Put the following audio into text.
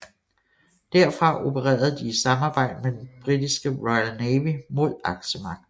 Derfra opererede de i samarbejde med den britiske Royal Navy mod Aksemagterne